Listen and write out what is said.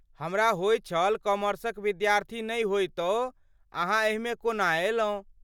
हमरा होइत छल कॉमर्सक विद्यार्थी नहि होइतो अहाँ एहिमे कोना अयलहुँ।